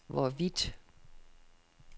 hvorvidt